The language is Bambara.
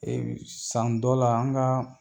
san dɔ la an ka